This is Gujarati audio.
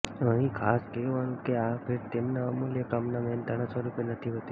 અહીં ખાસ કહેવાનું કે આ ભેટ તેમના અમૂલ્ય કામના મહેનતાણા સ્વરૂપે નથી હોતી